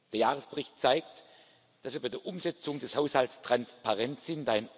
Der Jahresbericht zeigt, dass wir bei der Umsetzung des Haushalts transparent sind.